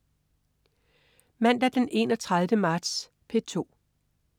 Mandag den 31. marts - P2: